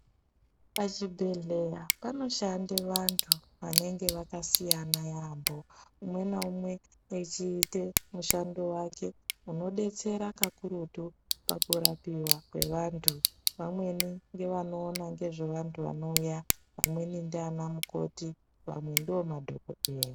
Pachibhedhlera panoshande vantu vanenge vakasiyana yambo umwe naumwe wechiita mushando wake unodetsera kakurutu pakurapiwa kwevantu . Vamweni ngevanoona ngezvevantu vanouya amweni ndiana mukoti vamwe ndomadhokodheya .